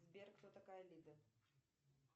сбер кто такая лида